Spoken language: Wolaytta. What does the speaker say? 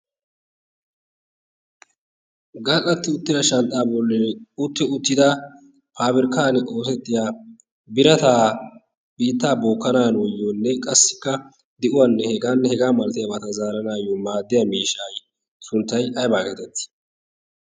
gal'atti uttida shanxxaa bolli utti uttida paaberkkan ootettiya birataa biittaa bookkanaanu oyiyoonne qassikka de'uwaanne hegan hegaa malati abaata zaaranaayyo maaddiya miishai sunttay aybaa geetettii?